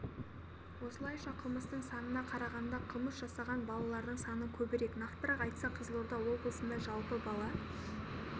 осылайша қылмыстың санына қарағанда қылмыс жасаған балалардың саны көбірек нақтырақ айтсақ қызылорда облысында жылы бала